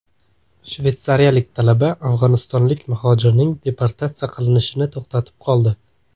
Shvetsiyalik talaba afg‘onistonlik muhojirning deportatsiya qilinishini to‘xtatib qoldi .